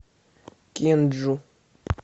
кенджу